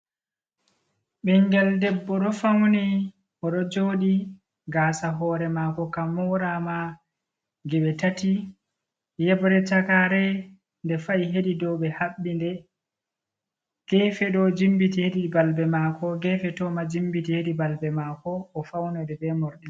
Ɓingel debbo dofauni, oɗojoɗi gaasa hore mako kamorama geɓe tati. yebre chakare nde fa"i hedi dow ɓe habbi nde. gefeɗo ɗo jimbiti hedi balbe mako gefe bo ɗo jimbiti hedi balbe mako o faunori be morɗi.